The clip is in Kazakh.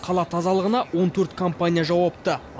қала тазалығына он төрт компания жауапты